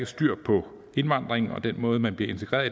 styr på indvandringen og den måde man bliver integreret